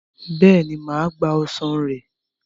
Bẹ́ẹ̀ni, mà á gba ọsàn rẹ̀.